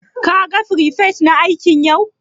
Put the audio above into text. Ka gan firifet na aiki yau?